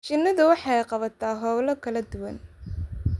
Shinnidu waxay qabataa hawlo kala duwan.